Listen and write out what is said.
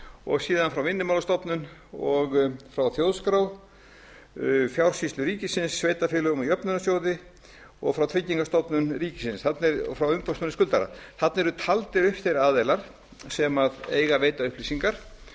og síðan frá vinnumálastofnun og frá þjóðskrá frá fjársýslu ríkisins sveitarfélögum og jöfnunarsjóði og frá tryggingastofnun ríkisins og frá umboðsmanni skuldara þarna eru taldir upp þeir aðilar sem eiga að veita upplýsingar